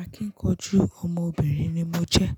Akíkanjú ọmọbìnrin ni mo jẹ́.